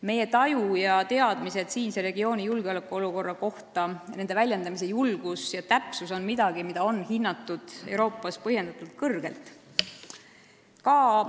Meie taju ja teadmised siinse regiooni julgeolekuolukorra kohta, nende väljendamise julgus ja täpsus on midagi, mida on Euroopas põhjendatult kõrgelt hinnatud.